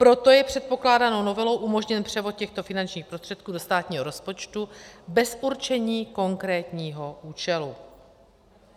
Proto je předpokládanou novelou umožněn převod těchto finančních prostředků do státního rozpočtu bez určení konkrétního účelu.